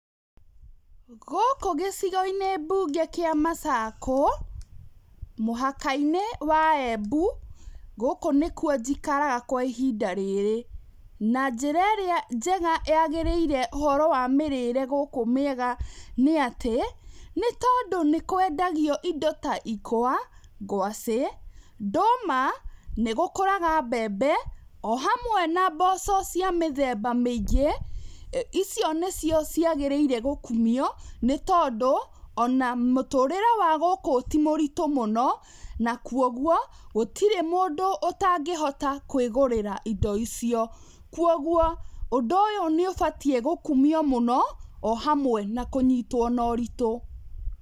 Gũkũ gĩcigo mbunge-inĩ kĩa macakũ mũhaka-inĩ wa embu gũkũ nĩkwo njikaraga kwa ihinda rĩrĩ na njĩra ĩrĩa njega yagĩrĩire ũhoro wa mĩrĩre gũkũ mĩega nĩ atĩ nĩtondũ nĩkwendagio indo ta ikwa ngwaci, ndũma naĩgũkũraga mbembe ohamwe na mboco cia mĩthemba mĩngĩ icio nicio cĩagĩrĩirwo gũkumio nĩtondũ ona mũtũrĩre wa gũkũ ti mũritũ mũno na kwa ũguo gũtirĩ mũndũ ũtangĩhota kwĩgũrĩra indo icio kwa ũgũo ũnd ũyũ nĩũbatie gũkumio mũno ohamwe na kũyitwo na ũritũ.